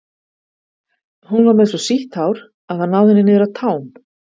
hún var með svo sítt hár að það náði henni niður að tám